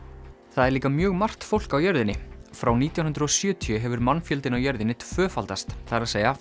það eru líka mjög margt fólk á jörðinni frá nítján hundruð og sjötíu hefur mannfjöldinn á jörðinni tvöfaldast það er